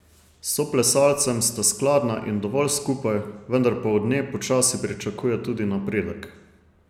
S soplesalcem sta skladna in dovolj skupaj, vendar pa od nje počasi pričakuje tudi napredek.